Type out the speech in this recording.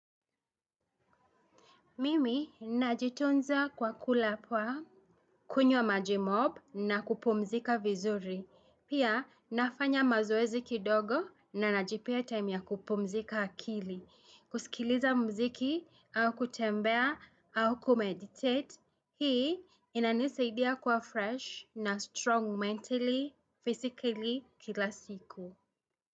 Mimi ninajitunza kwa kula poa, kunywa maji mob na kupumzika vizuri. Pia nafanya mazoezi kidogo na najipea time ya kupumzika akili. Kusikiliza mziki au kutembea au kumeditate. Hii inanisaidia kuwa fresh na strong mentally, physically kila siku.